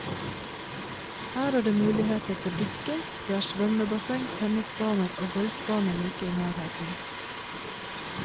Her er det muligheter for dykking, det er svømmebasseng, tennisbaner og golfbane like i nærheten.